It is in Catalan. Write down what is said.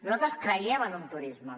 nosaltres creiem en un turisme